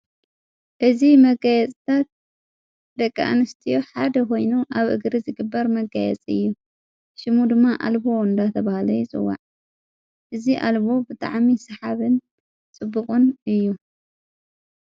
እዝ መቀየጽታት ደቀ ኣንስትዮ ሓደ ኾይኑ ኣብ እግሪ ዝግበር መጋየጽ እዩ ሽሙ ድማ ኣልቦ ወንዳ ተብሃለ ይጽዋዕ እዝ ኣልቦ ብጥዓሚ ሰሓብን ጽቡቕን እዩ።